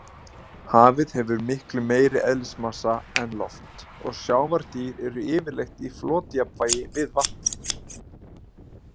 Hafið hefur miklu meiri eðlismassa en loft og sjávardýr eru yfirleitt í flotjafnvægi við vatnið.